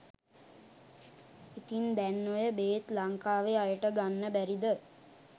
ඉතින් දැන් ඔය බේත් ලංකාවේ අයට ගන්න බැරිද .?